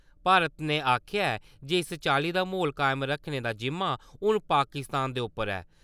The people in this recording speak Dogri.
भारत ने आखेआ ऐ जे इस चाल्ली दा म्हौल कायम करने दा जिम्मा हून पाकिस्तान दे उप्पर ऐ।